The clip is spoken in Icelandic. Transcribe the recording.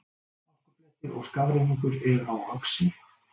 Hálkublettir og skafrenningur er á Öxi